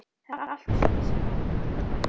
Það er allt og sumt, sagði afi brosleitur.